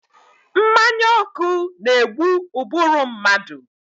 Mmanya ọkụ na-egbu ụbụrụ mmadụ.